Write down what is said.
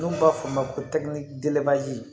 N'u b'a f'o ma ko tɛkinisɛri